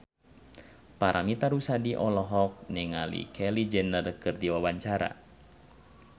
Paramitha Rusady olohok ningali Kylie Jenner keur diwawancara